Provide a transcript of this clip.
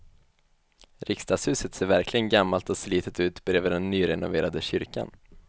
Riksdagshuset ser verkligen gammalt och slitet ut bredvid den nyrenoverade kyrkan.